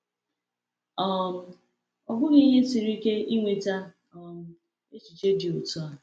um Ọ bụghị ihe siri ike inweta um echiche dị otu a.